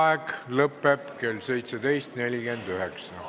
Vaheaeg lõpeb kell 17.49.